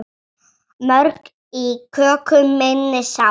Mörg í köku minni sá.